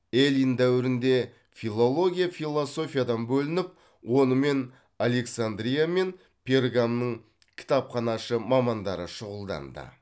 эллин дәуірінде филология философиядан бөлініп онымен александрия мен пергамның кітапханашы мамандары шұғылданды